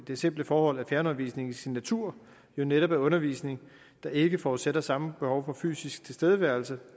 det simple forhold at fjernundervisningen i sin natur jo netop er undervisning der ikke forudsætter samme behov for fysisk tilstedeværelse